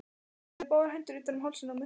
Lagði báðar hendur utan um hálsinn á mér.